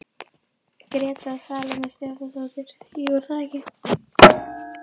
Gréta Salóme Stefánsdóttir: Jú, er það ekki?